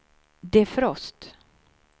defrost